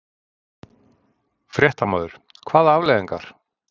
Fréttamaður: Hvaða afleiðingar?